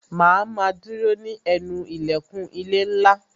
Ma a ma dúró ní ẹnu ilẹ̀kùn ilé ńlá